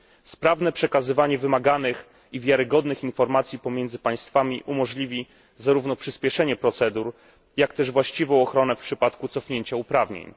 Sprawne przekazywanie wymaganych i wiarygodnych informacji pomiędzy państwami umożliwi zarówno przyspieszenie procedur, jak też właściwą ochronę w przypadku cofnięcia uprawnień.